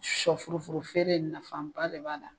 Sɔfurufuru feere nafaba de b'a la.